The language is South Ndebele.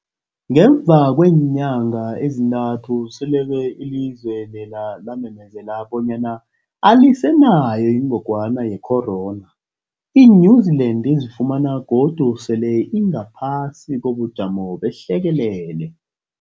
Ngemva kweenyanga ezintathu selokhu ilizwe lela lamemezela bonyana alisenayo ingogwana ye-corona, i-New-Zealand izifumana godu sele ingaphasi kobujamo behlekelele.